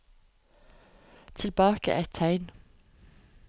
Tilbake ett tegn